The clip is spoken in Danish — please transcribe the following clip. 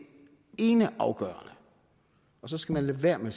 eneafgørende så skal man lade være med